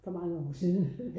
For mange år siden